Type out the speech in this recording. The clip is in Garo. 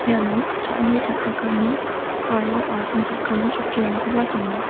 iano cha·ani cha·chakani aro asongchakani chokkirangkoba dona.